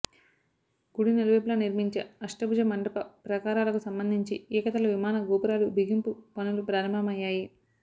గుడి నలువైపుల నిర్మించే అష్టభుజ మండప ప్రాకారాలకు సంబంధించి ఏక తల విమాన గోపురాలు బిగింపు పనులు ప్రారంభమయ్యాయి